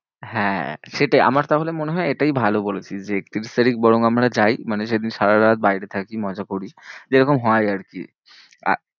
হ্যাঁ, সেটাই আমার তাহলে মনে হয় এটাই ভালো বলেছিস, যে একত্রিশ তারিখ বরং আমরা যাই মানে সেদিন সারারাত বাড়িতে থাকি মজা করি, যেরকম হয় আরকি। আর